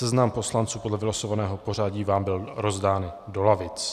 Seznam poslanců podle vylosovaného pořadí vám byl rozdán do lavic.